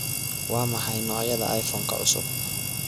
waa maxay noocyada iPhone-ka cusub